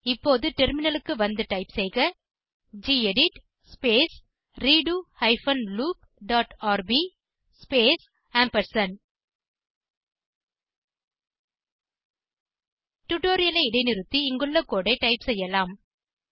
இப்போது டெர்மினலுக்கு வந்து டைப் செய்க gedit space redo hyphen loop dot rb space டுடோரியலை இடைநிறுத்தி இங்குள்ள கோடு ஐ டைப் செய்யலாம்